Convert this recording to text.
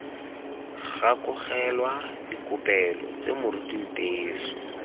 gakologelwa dikopelo tse moruti nteso